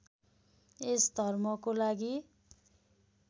यस धर्मको लागि